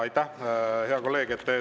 Aitäh, hea kolleeg!